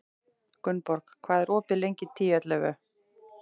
Gunnborg, hvað er opið lengi í Tíu ellefu?